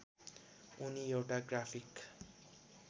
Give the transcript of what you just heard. उनी एउटा ग्राफिक